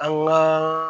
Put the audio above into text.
An ka